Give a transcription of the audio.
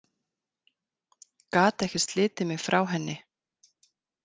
Gat ekki slitið mig frá henni.